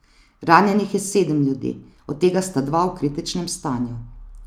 Ranjenih je sedem ljudi, od tega sta dva v kritičnem stanju.